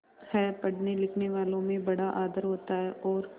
पढ़नेलिखनेवालों में बड़ा आदर होता है और